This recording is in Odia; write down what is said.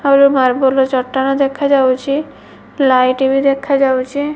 ମାର୍ବଲ ଚଟାଣ ଦେଖାଯାଉଚି ଲାଇଟି ବି ଦେଖାଯାଉଚି ।